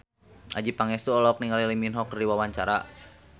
Adjie Pangestu olohok ningali Lee Min Ho keur diwawancara